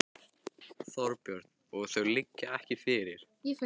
Þorbjörn: Og þau liggja ekki fyrir?